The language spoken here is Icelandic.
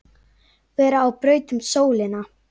vera á braut um sólina